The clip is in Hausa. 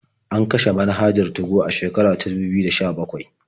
An kashe manhajar 2go a shekara ta dubu biyu da sha-bakwai.